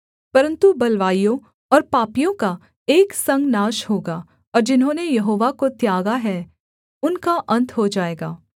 परन्तु बलवाइयों और पापियों का एक संग नाश होगा और जिन्होंने यहोवा को त्यागा है उनका अन्त हो जाएगा